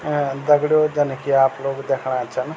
अ दगडियों जन की आप लोग देखणा छन।